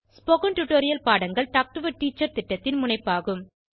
spoken tutorial பாடங்கள் talk to a teacher திட்டத்தின் முனைப்பாகும்